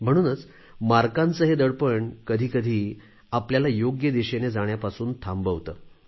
म्हणूनच गुणांचे हे दडपण कधी कधी आपल्याला योग्य दिशेने जाण्यापासून थांबवते